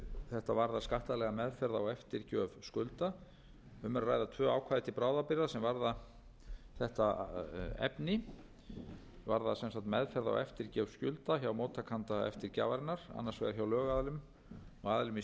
þetta varðar skattalega meðferð á eftirgjöf skulda um er að ræða tvö ákvæði til bráðabirgða er varða þetta efni varðar sem sagt meðferð og eftirgjöf hjá móttakanda eftirgjafarinnar annars vegar hjá lögaðilum og aðilum í